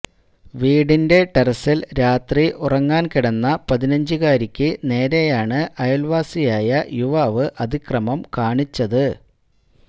വീടിന്റെ ടെറസില് രാത്രി ഉറങ്ങാന് കിടന്ന പതിനഞ്ചുകാരിയ്ക്കു നേരെയാണ് അയല്വാസിയായ യുവാവ് അതിക്രമം കാണിച്ചത്